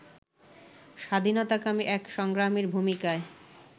স্বাধীনতাকামী এক সংগ্রামীর ভূমিকায়